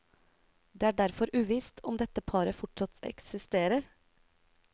Det er derfor uvisst om dette paret fortsatt eksisterer.